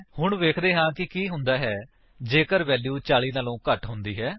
ਹੁਣ ਵੇਖਦੇ ਹਾਂ ਕਿ ਕੀ ਹੁੰਦਾ ਹੈ ਜੇਕਰ ਵੈਲਿਊ 40 ਤੋਂ ਘੱਟ ਹੁੰਦੀ ਹੈ